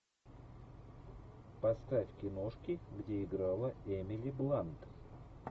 поставь киношки где играла эмили блант